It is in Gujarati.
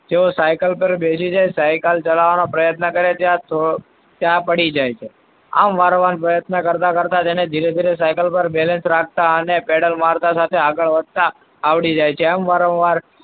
જો cycle પર બેસી જાય cycle ચલાવવાનો પ્રયત્ન કરે ત્યાં પડી જાય છે. આમ વારંવાર પ્રયત્ન કરતા તેને ધીરે ધીરે cycle પર balance રાખતા અને paddle મારતા સાથે આગળ વધતા આવડી જાય છે. એમ વારંવાર,